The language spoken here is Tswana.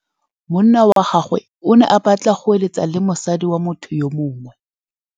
Monna wa gagwe o ne a batla go êlêtsa le mosadi wa motho yo mongwe.